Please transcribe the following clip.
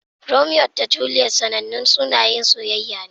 Romeo da Juliet sanannun sunayen soyayya ne.